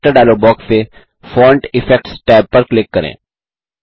character dialog box से font effects tab पर click करें